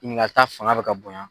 ta fanga bɛ ka bonya.